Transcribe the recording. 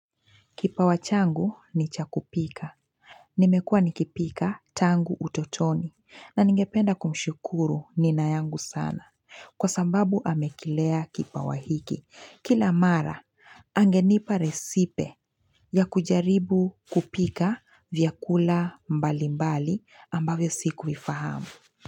Kipawa changu ni cha kupika. Nimekua nikipika tangu utotoni na ningependa kumshukuru nina yangu sana. Kwa sababu amekilea kipawa hiki. Kila mara, angenipa resipe ya kujaribu kupika vyakula mbali mbali ambavyo sikuifahamu.